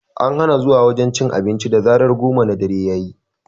An hana zuwa wajen cin abinci da zarar goma na dare yayi